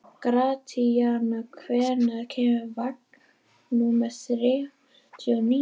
Gratíana, hvenær kemur vagn númer þrjátíu og níu?